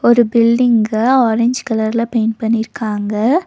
ஒரு பில்டிங்க ஆரஞ் கலர்ல பெயிண்ட் பண்ணிருக்காங்க.